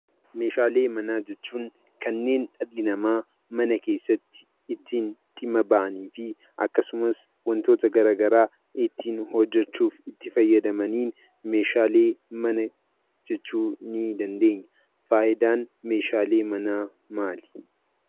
Meeshaalee manaa jechuun kanneen dhalli namaa mana keessatti ittiin dhimma ba'anii fi akkasumas wantoota gara garaa ittiin hojjechuuf itti fayyadamaniin meeshaalee mana jechuu nii dandeenya. Faayidaan meeshaalee manaa maali?